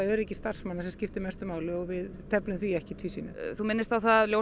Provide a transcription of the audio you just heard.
öryggi starfsmanna sem skiptir mestu máli og við teflum því ekki í tvísýnu þú minnist á það að